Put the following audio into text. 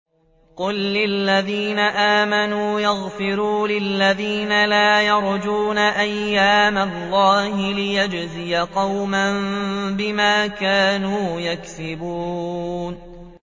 قُل لِّلَّذِينَ آمَنُوا يَغْفِرُوا لِلَّذِينَ لَا يَرْجُونَ أَيَّامَ اللَّهِ لِيَجْزِيَ قَوْمًا بِمَا كَانُوا يَكْسِبُونَ